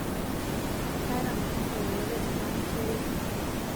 kaata mpango yoyote tenaa mwisho e wiki